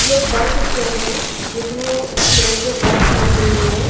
ये एक bus stand में जिसमें स्टैंड पे एक बस खड़ी हुई है।